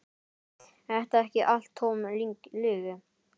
Er þetta ekki allt tóm lygi?